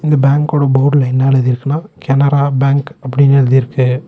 இந்த பேங்கோட போர்டுல என்ன எழுதிருக்குன்னா கனரா பேங்க் அப்டின்னு எழுதி இருக்கு.